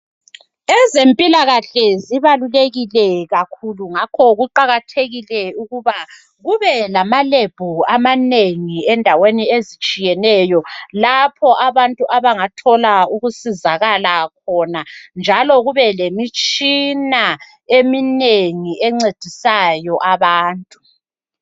Ezempilakahle zibalulekile kakhulu ngakho kuqakathekile ukuba kube lamalebhu amanengi endaweni ezitshiyeneyo lapho abantu abangathola ukusizakala khona njalo kube lemitshina eminengi encedisayo abantu.